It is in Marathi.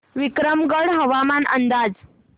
विक्रमगड हवामान अंदाज